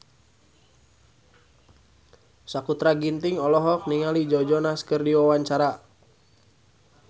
Sakutra Ginting olohok ningali Joe Jonas keur diwawancara